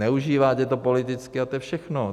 Zneužíváte to politicky a to je všechno.